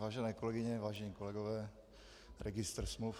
Vážené kolegyně, vážení kolegové, registr smluv...